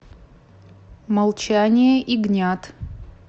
молчание ягнят